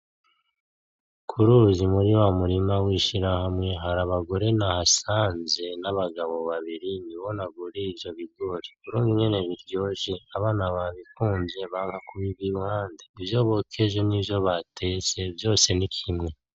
Kuruzi muri wa murima w'ishirahamwe hari abagore nahasanze nabagabo babiri nibo naguriye ivyo bigori ukuntu nyine biryoshye abana babikunze banga kubiva iruhande ivyo bokeje nivyo batetse vyose nikimwe.